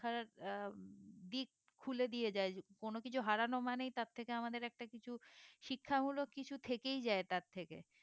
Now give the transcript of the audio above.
হা আহ দিক খুলে দিয়ে যায় কোনো কিছু হারানো মানেই তার থেকে আমাদের একটা কিছু শিক্ষা হলো কিছু থেকেই যায় তার থেকে